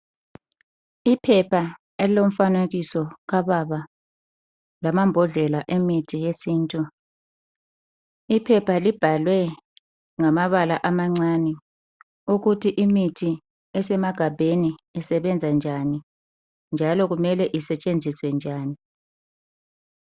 Iphepha elomfanekiso kababa lamambhodlela emithi yesintu, kanye lamaphilisi. Iphepha libhalwe ngamabala amancane ukuthi imithi esemagabheni isebenza njani njalo kumele isetshenziswe njani